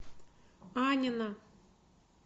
аннино